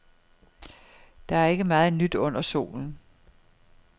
Der er ikke meget nyt under solen.